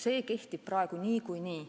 See kehtib praegu niikuinii.